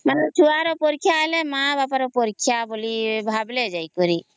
ମାନେ ଛୁଆ ର ପରୀକ୍ଷା ହେଲେ ମା ବାପା ର ପରୀକ୍ଷା ଭାବିଲେ ଜାଇକାରୀ